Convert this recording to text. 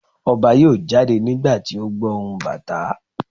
Ọba yọọ jade nígbàtí o gbọ ohún Batà